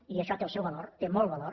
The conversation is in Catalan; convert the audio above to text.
i això té el seu valor té molt valor